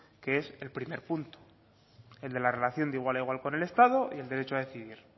que es el primer punto el de la relación de igual a igual con el estado y el derecho a decidir